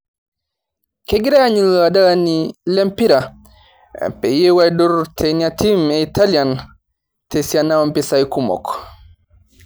Kegirae aanyu ilo adalani le mpira peyieu eidur teina tim italian tesiani ompisai kumok